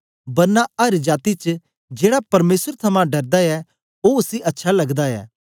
बरना अर जाती च जेड़ा परमेसर थमां डरदा ऐ ओ उसी अच्छा लगदा ऐ